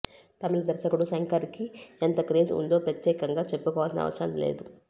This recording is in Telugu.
తమిళ దర్శకుడు శంకర్కి ఎంత క్రేజ్ వుందో ప్రత్యేకంగా చెప్పుకోవాల్సిన అవసరం లేదు